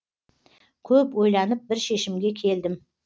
көп ойланып бір шешімге келдім